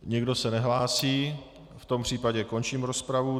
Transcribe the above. Nikdo se nehlásí, v tom případě končím rozpravu.